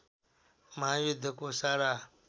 महायुद्धको सारा